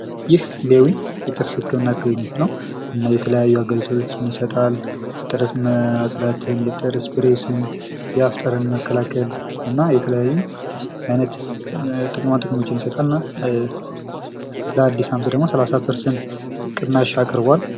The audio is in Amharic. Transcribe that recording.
ይህ ሌዊ የጥርስ ህክምና አገልግሎት ነው እና የተለያዩ አገልግሎቶች ይሰጣል ጥርስ ማጽዳትን፣ የጥርስ ብሬስን፣ የአፍ ጠረንን መከላከል እና የተለያዩ አይነት ጥቅሞች ይሰጣል። ለአዲስ አመት ደሞ ሰላሳ ፐርሰንት ቅናሻ አቅርቧል።